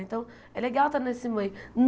Então, é legal estar nesse meio.